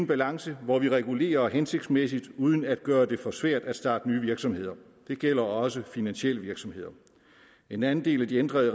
balance hvor vi regulerer hensigtsmæssigt uden at gøre det for svært at starte nye virksomheder det gælder også finansielle virksomheder en anden del af de ændrede